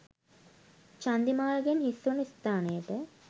චන්දිමාල් ගෙන් හිස් වන ස්ථානයට